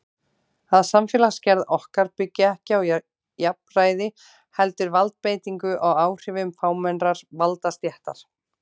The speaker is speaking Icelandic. Að samfélagsgerð okkar byggi ekki á jafnræði heldur valdbeitingu og áhrifum fámennrar valdastéttar.